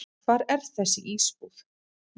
Hvar er þessi íbúð?